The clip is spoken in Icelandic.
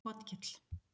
Otkell